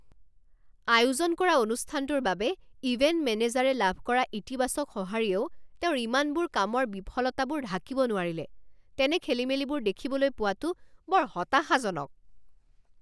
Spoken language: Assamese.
আয়োজন কৰা অনুষ্ঠানটোৰ বাবে ইভেণ্ট মেনেজাৰে লাভ কৰা ইতিবাচক সঁহাৰিয়েও তেওঁৰ ইমানবোৰ কামৰ বিফলতাবোৰ ঢাকিব নোৱাৰিলে। তেনে খেলিমেলিবোৰ দেখিবলৈ পোৱাটো বৰ হতাশাজনক।